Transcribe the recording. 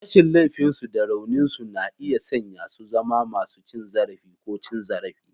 Rashin laifinsu da rauninsu na iya sanya su zama masu cin zarafi ko cin zarafi.